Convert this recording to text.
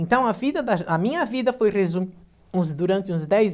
Então a vida da a minha vida foi resu uns durante uns dez